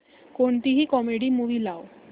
कोणतीही comedy movie लाव